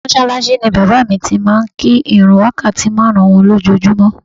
Mọ́ṣáláṣí ni bàbá mi ti máa ń kí ìrun wákàtí márùn-ún wọn lójoojúmọ́